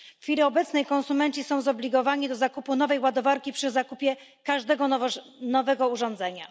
W chwili obecnej konsumenci są zobligowani do zakupu nowej ładowarki przy zakupie każdego nowego urządzenia.